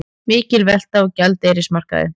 Mikil velta á gjaldeyrismarkaði